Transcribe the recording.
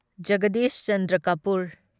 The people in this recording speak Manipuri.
ꯖꯒꯗꯤꯁ ꯆꯟꯗ꯭ꯔ ꯀꯄꯨꯔ